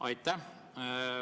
Aitäh!